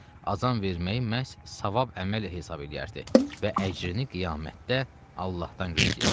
Azan verməyi məhz savab əməl hesab eləyərdi və əcrini qiyamətdə Allahdan gözləyərdi.